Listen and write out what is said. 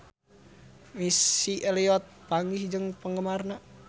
Missy Elliott papanggih jeung penggemarna